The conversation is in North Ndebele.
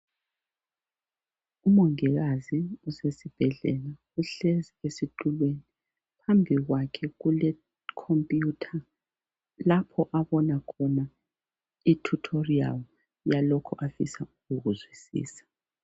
Umongikazi usesibhedlela uhlezi esitulweni, phambi kwakhe kule computer, lapho abona khona i tutorial yalokho afisa ukukuzwisisa.